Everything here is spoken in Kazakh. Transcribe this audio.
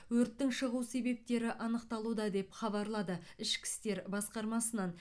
өрттің шығу себептері анықталуда деп хабарлады ішкі істер басқармасынан